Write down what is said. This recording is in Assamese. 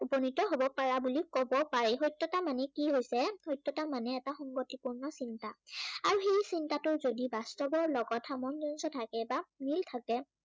উপনীত হব পাৰা বুলি কব পাৰি। সত্য়তা মানে কি হৈছে, সত্য়তা মানে এটা সংগতিপূৰ্ণ চিন্তা। আৰু সেই চিন্তাটো যদি বাস্তুৱৰ লগত সামঞ্জস্য় থাকে বা মিল থাকে